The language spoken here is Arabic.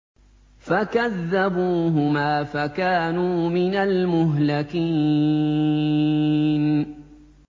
فَكَذَّبُوهُمَا فَكَانُوا مِنَ الْمُهْلَكِينَ